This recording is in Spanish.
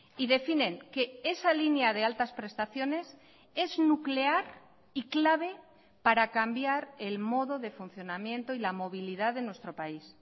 y definen que esa línea de altas prestaciones es nuclear y clave para cambiar el modo de funcionamiento y la movilidad de nuestro país